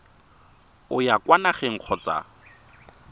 o ya kwa nageng kgotsa